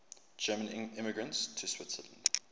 german immigrants to switzerland